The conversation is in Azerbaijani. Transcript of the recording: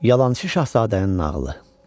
Yalançı şahzadənin nağılı.